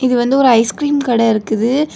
இது வந்து ஒரு ஐஸ்கிரீம் கடை இருக்குது.